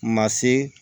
Ma se